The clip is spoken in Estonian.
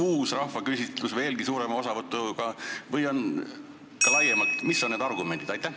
Kas uus rahvaküsitlus veelgi suurema osavõtuga võiks aidata või mis oleks need argumendid?